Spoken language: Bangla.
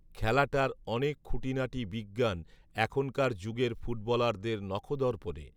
খেলাটার অনেক খুঁটিনাটি বিজ্ঞান এখনকার যুগের ফুটবলারদের নখদর্পণে